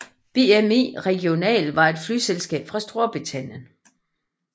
bmi regional var et flyselskab fra Storbritannien